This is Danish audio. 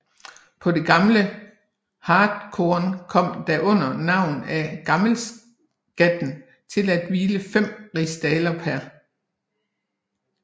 På det gamle hartkorn kom der under navn af gammelskatten til at hvile 5 rigsdaler pr